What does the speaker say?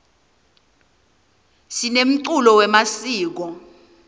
sinemculo wemasiko